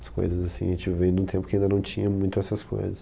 As coisas assim, a gente veio de um tempo que ainda não tinha muito essas coisas.